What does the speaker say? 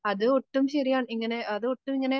അതൊട്ടും ശരിയാ ഇങ്ങനെ അതൊട്ടും ഇങ്ങനെ